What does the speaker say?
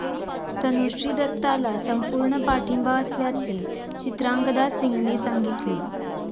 तनुश्री दत्ताला संपूर्ण पाठिंबा असल्याचे चित्रांगदा सिंगने सांगितले.